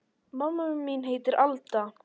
Mamma mín heitir Alda.